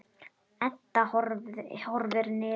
Edda horfir niður.